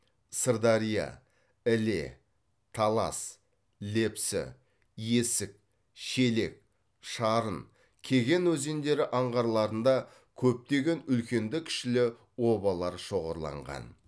сырдария іле талас лепсі есік шелек шарын кеген өзендері аңғарларында көптеген үлкенді кішілі обалар шоғырланған